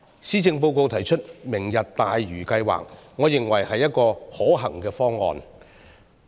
施政報告提出"明日大嶼"計劃，我認為是一個可行方案。